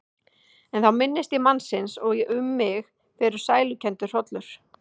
En þá minnist ég mannsins og um mig fer sælukenndur hrollur.